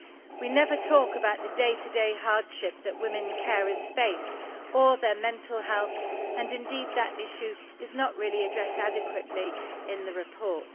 We never talk about the day to day hardship that women carers face, or their mental health and indeed that issue is not really addressed adequately in the report.